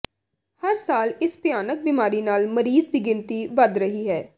ਹਰ ਸਾਲ ਇਸ ਭਿਆਨਕ ਬਿਮਾਰੀ ਨਾਲ ਮਰੀਜ਼ ਦੀ ਗਿਣਤੀ ਵਧ ਰਹੀ ਹੈ